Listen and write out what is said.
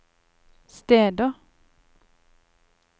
steder